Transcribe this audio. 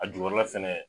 A jukɔrɔla fɛnɛ